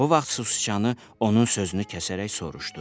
Bu vaxt susiçanı onun sözünü kəsərək soruşdu.